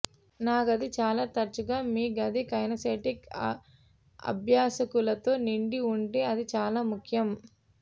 నా గది చాలా తరచుగా మీ గది కైనెస్తెటిక్ అభ్యాసకులతో నిండి ఉంటే అది చాలా ముఖ్యం